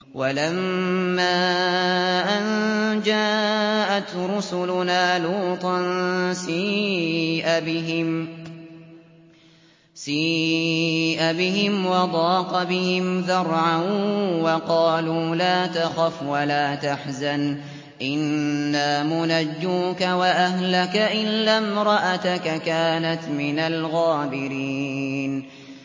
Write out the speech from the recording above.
وَلَمَّا أَن جَاءَتْ رُسُلُنَا لُوطًا سِيءَ بِهِمْ وَضَاقَ بِهِمْ ذَرْعًا وَقَالُوا لَا تَخَفْ وَلَا تَحْزَنْ ۖ إِنَّا مُنَجُّوكَ وَأَهْلَكَ إِلَّا امْرَأَتَكَ كَانَتْ مِنَ الْغَابِرِينَ